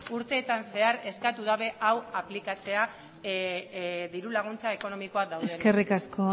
urteetan zehar eskatu dute hau aplikatzea diru laguntza ekonomikoak daudenean eskerrik asko